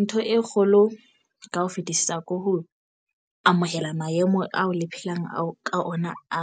Ntho e kgolo ka ho fetisisa ke ho amohela maemo ao le phelang ao ka ona a